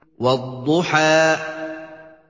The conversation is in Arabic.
وَالضُّحَىٰ